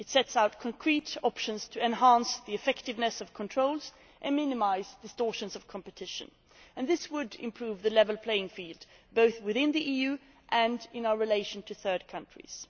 It sets out concrete options to enhance the effectiveness of controls and minimise distortions in competition, and this would improve the level playing field both within the EU and in our relations with third countries.